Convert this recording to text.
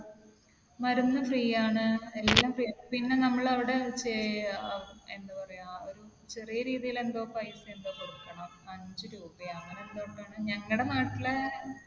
മരുന്ന് free ആണ്. എല്ലാം free ആണ്. പിന്നെ നമ്മൾ അവിടെ ഏർ എന്താ പറയാ ഒരു ചെറിയ രീതിയിൽ എന്തോ പൈസ എന്തോ കൊടുക്കണം. അഞ്ച് രൂപയോ അങ്ങനെ എന്തോ ആണ്. ഞങ്ങളുടെ നാട്ടിലെ